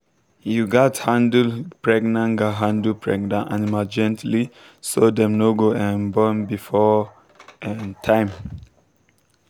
you gatz handle pregnant gatz handle pregnant animal gently so dem no go um born before um time.